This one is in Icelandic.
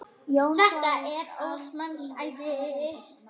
Þetta er óðs manns æði!